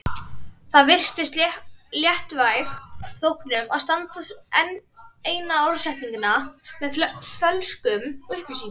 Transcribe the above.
Það virðist léttvæg þóknun að senda enn eina orðsendinguna með fölskum upplýsingum.